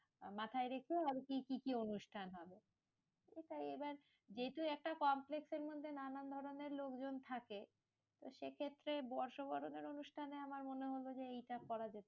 মাথায় রেখে আর কি কি অনুষ্ঠান হবে? সেটাই এবার যেহেতু একটা complex এর মধ্যে নানান ধরণের লোকজন থাকে, তো সেইক্ষেত্রে বর্ষবরণের অনুষ্ঠানে আমার মনে হলো যে এইটা করা যেতে